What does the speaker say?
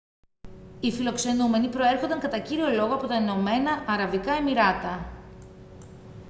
οι φιλοξενούμενοι προέρχονταν κατά κύριο λόγο από τα ηνωμένα αραβικά εμιράτα